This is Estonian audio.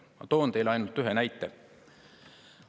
Ma toon teile ainult ühe näite.